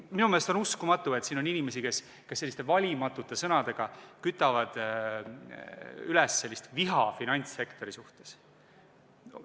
Minu meelest on uskumatu, et siin on inimesi, kes selliste valimatute sõnadega kütavad üles viha finantssektori vastu.